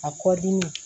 A kɔ dimi